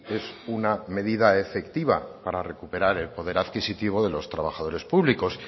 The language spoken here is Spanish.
es una medida efectiva para recuperar el poder adquisitivo de los trabajadores públicos